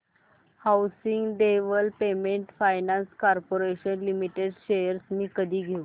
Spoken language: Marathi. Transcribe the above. housing development finance corporation limited shares मी कधी घेऊ